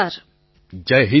પ્રધાનમંત્રી જય હિન્દ